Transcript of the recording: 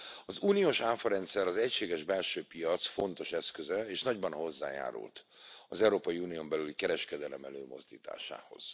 Az uniós áfarendszer az egységes belső piac fontos eszköze, és nagyban hozzájárult az Európai Unión belüli kereskedelem előmozdításához.